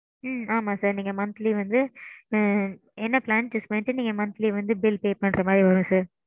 ம்ம் ஆமாம் sir நீங்க monthly ம் வந்து. ஆ ஆ என்ன plan choose பன்னிட்டு நீங்க monthly வந்து bill pay பன்னுறமாரி வரும் sir